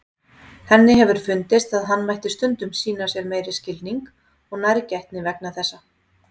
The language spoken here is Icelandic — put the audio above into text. Henni hefur fundist að hann mætti stundum sýna sér meiri skilning og nærgætni vegna þessa.